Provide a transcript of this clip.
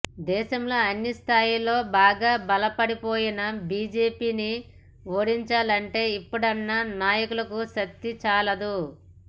దేశంలో అన్ని స్థాయిల్లో బాగా బలపడిపోయిన బీజేపీని ఓడించాలంటే ఇప్పుడున్న నాయకులకు శక్తి చాలదు